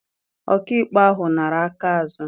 Ọkaikpe ahụ nara aka azụ.